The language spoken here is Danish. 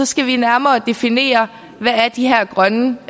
skal vi nærmere definere hvad de her grønne